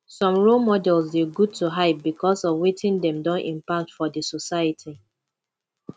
some role models de good to hype because of wetin dem don impact for di society